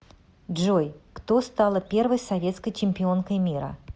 джой кто стала первой советской чемпионкой мира